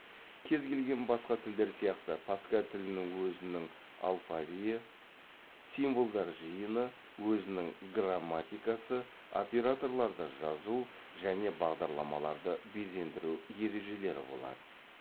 кез келген басқа тілдер сияқты паскаль тілінің өзінің алфавиі символдар жиыны өзінің грамматикасы операторларды жазу және бағдарламаларды безендіру ережелері болады